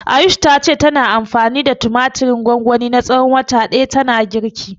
Ayush ta ce tana anfani da tumatirin gwangwani na tsawon wata ɗaya tana girki.